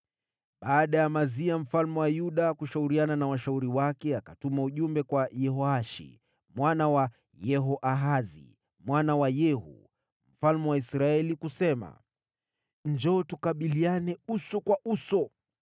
Baada ya Amazia mfalme wa Yuda kushauriana na washauri wake akatuma ujumbe kwa Yehoashi, mwana wa Yehoahazi mwana wa Yehu, mfalme wa Israeli kusema: “Njoo tukabiliane uso kwa uso.”